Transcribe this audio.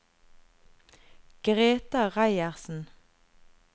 Greta Reiersen